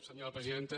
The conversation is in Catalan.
senyora presidenta